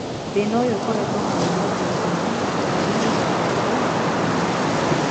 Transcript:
Thina ũyũ ũkoretwo munene thĩ gima mabũrũrĩnĩ matongu na mathĩnu.